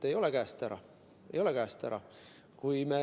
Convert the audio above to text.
Ei ole käest ära.